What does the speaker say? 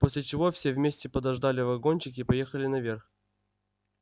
после чего все вместе подождали вагончик и поехали наверх